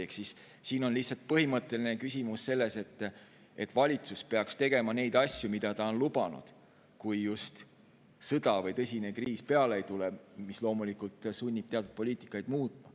Ehk siin on lihtsalt põhimõtteline küsimus selles, et valitsus peaks tegema neid asju, mida ta on lubanud, kui just ei tule peale sõda või tõsine kriis, mis loomulikult sunnib teatud poliitikat muutma.